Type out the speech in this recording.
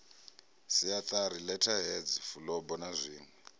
siatari letterheads fulubo na zwinwe